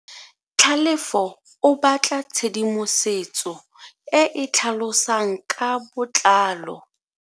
Tlhalefo o batla tshedimosetso e e tlhalosang ka botlalo.